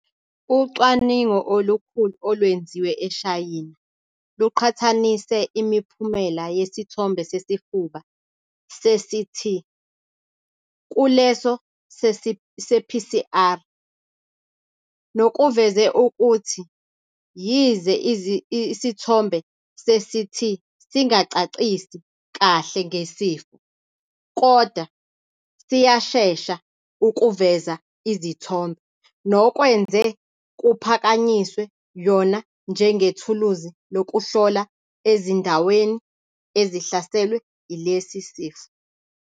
Ucwaningo olukhulu olwenziwe eShayina luqhathanise imiphumela yesithombe sesifuba se-CT kuleso se-PCR nokuveze ukuthi yize isithombe se-CT singacacisi kahle ngesifo, kodwa siyashesa ukuveza izithombe, nokwenze kuphakanyiswe yona njengethuluzi lokuhlola ezindaweni ezihlaselwe ilesi sifo.